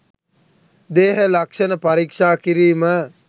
දේහ ලක්ෂණ පරීක්ෂා කිරීම